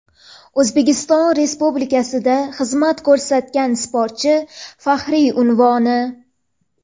"O‘zbekiston Respublikasida xizmat ko‘rsatgan sportchi" faxriy unvoni.